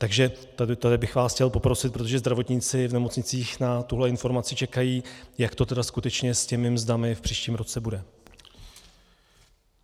Takže tady bych vás chtěl poprosit, protože zdravotníci v nemocnicích na tuhle informaci čekají, jak to tedy skutečně s těmi mzdami v příštím roce bude.